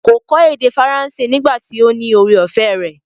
Kò kọ́ èdè faransé nígbà tí ó ní ore-ọ̀fẹ́ rẹ̀.